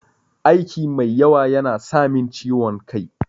Aiki mai yawa yana samin ciwon kai.